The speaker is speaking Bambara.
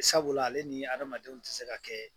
Sabula ale ni adamadenw tɛ se ka kɛ